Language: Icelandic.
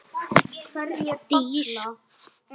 Ég flauta.